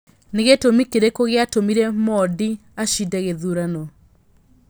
nĩ gĩtũmi kĩrikũ gĩa tũmire modi acinde gĩthurano